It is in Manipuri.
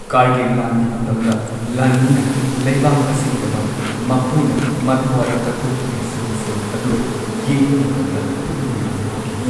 ꯀꯥꯔꯒꯤꯜ ꯂꯥꯟꯒꯤ ꯃꯇꯝꯗ ꯂꯥꯟꯃꯤꯅ ꯂꯩꯕꯥꯛ ꯑꯁꯤꯒꯤꯗꯃꯛ ꯃꯈꯣꯏꯅ ꯃꯊ꯭ꯋꯥꯏ ꯀꯠꯊꯣꯛꯄꯒꯤ ꯁꯤꯟꯁꯤꯡ ꯑꯗꯨ ꯌꯦꯡꯕ ꯃꯇꯝꯗ ꯄꯨꯛꯅꯤꯡ ꯌꯥꯝꯅ ꯋꯥꯈꯤ ꯫